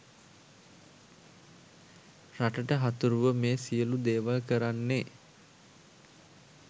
රටට හතුරුව මේ සියළු දේවල් කරන්නේ.